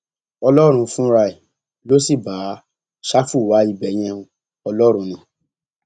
ọlọrun fúnra ẹ ló sì bá ṣáfù wá ibẹ yẹn o ọlọrun ni